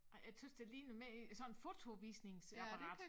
Ej jeg tøs det ligner mere sådan fotovisningsapperat